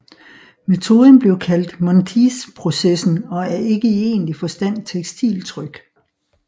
Metoden blev kaldt Monteithprocessen og er ikke i egentlig forstand tekstiltryk